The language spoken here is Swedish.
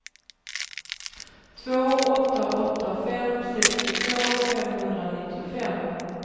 två åtta åtta fem sextiotvå femhundranittiofem